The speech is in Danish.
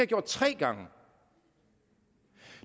gjort tre gange